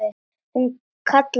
Hún kallaði á Stínu.